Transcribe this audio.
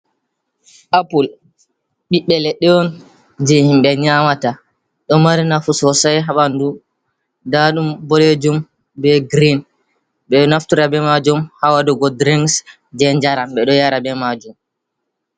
Apul. Ɓiɓɓe leɗɗe on, je himɓe nyamata. Ɗo mari nafu sosai ha ɓanɗu. Nɗa ɗum ɓoɗejum ɓe girin. Ɓe naftura ɓe majum, ha waɗugo ɗirinks je jaram. Ɓe ɗo yara ɓe majum.